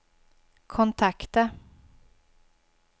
kontakta